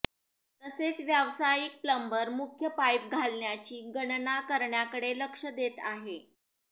तसेच व्यावसायिक प्लंबर मुख्य पाईप घालण्याची गणना करण्याकडे लक्ष देत आहे